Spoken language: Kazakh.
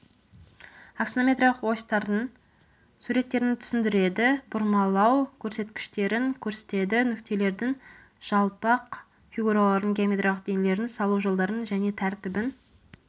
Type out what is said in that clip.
аксонометриялық осьтардың суреттерін түсіндіреді бұрмалау көрсеткіштерін көрсетеді нүктелердің жалпақ фигуралардың геометриялық денелердің салу жолдарын және тәртібін